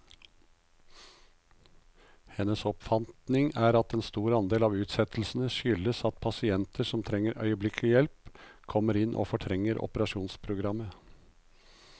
Hennes oppfatning er at en stor andel av utsettelsene skyldes at pasienter som trenger øyeblikkelig hjelp, kommer inn og fortrenger operasjonsprogrammet.